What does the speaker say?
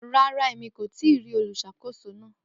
Ràrà, ẹ̀mí kò tìí rí oluṣakòsó náà.